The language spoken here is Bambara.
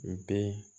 N den